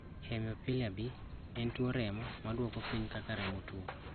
Hemophilia B en tuo remo maduoko piny kaka remo tuo